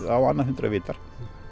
á annað hundrað vitar